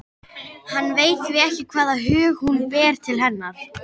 Hann veit því ekki hvaða hug hún ber til hennar.